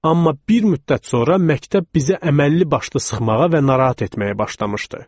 Amma bir müddət sonra məktəb bizə əməlli başlı sıxmağa və narahat etməyə başlamışdı.